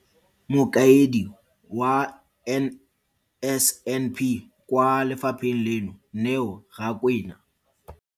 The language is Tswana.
Mokaedi wa NSNP kwa lefapheng leno, Neo Rakwena.